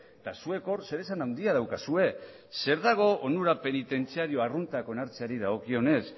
eta zuek hor zeresan handia daukazue zer dago onura penitentziario arruntak onartzeari dagokionez